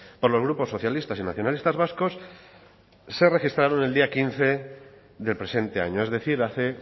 por los grupos socialistas y nacionalistas vascos se registraron el día quince del presente año es decir hace